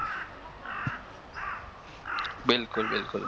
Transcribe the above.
બિલકુલ બિલકુલ